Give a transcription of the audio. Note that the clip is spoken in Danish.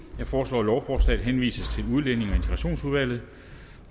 jeg foreslår at lovforslaget henvises til udlændinge